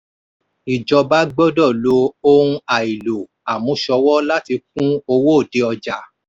ìjọba gbọ́dọ̀ lo ohun àìlò àmúṣòwò láti kún owó òde ọjà.